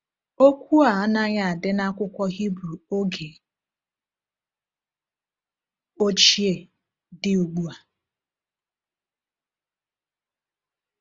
Okwu a anaghị adị n’akwụkwọ Hibru oge ochie dị ugbu a.